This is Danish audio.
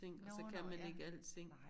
Nårh nå ja nej